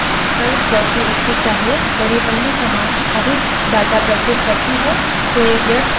यदि पहली command अधिक data प्रस्तुत करती है तो यह व्यर्थ में disk memory नष्ट कर या कम कर सकती है